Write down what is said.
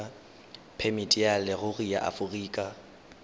phemiti ya leruri ya aforika